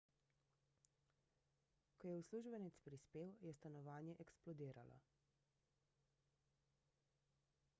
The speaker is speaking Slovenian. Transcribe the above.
ko je uslužbenec prispel je stanovanje eksplodiralo